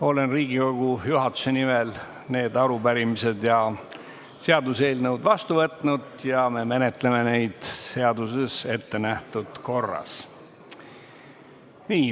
Olen Riigikogu juhatuse nimel need arupärimised ja seaduseelnõud vastu võtnud ja me menetleme neid seaduses ettenähtud korras.